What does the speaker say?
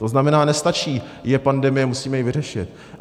- To znamená, nestačí "je pandemie", musíme ji vyřešit.